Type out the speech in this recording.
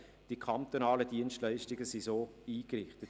Die kantonalen Dienstleistungen sind entsprechend ausgerichtet.